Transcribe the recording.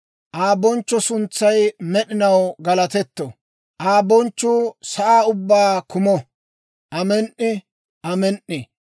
Aa bonchcho suntsay med'inaw galatetto; Aa bonchchuu sa'aa ubbaa kumo. Amen"i. Amen"i.